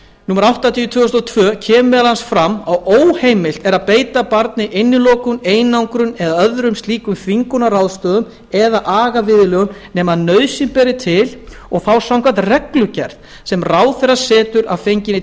númer áttatíu tvö þúsund og tvö kemur meðal annars fram að óheimilt er að beita barn innilokun einangrun og öðrum slíkum þvingunarráðstöfunum eða agaviðurlögum nema nauðsyn beri til og þá samkvæmt reglugerð sem ráðherra setur að fengnum